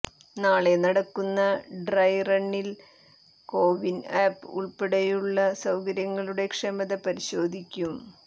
നാളെ നടക്കുന്ന ഡ്രൈറണ്ണിൽ കൊവിൻ ആപ്പ് ഉൾപ്പടെയുള്ള സൌകര്യങ്ങളുടെ ക്ഷമത പരിശോധിക്കും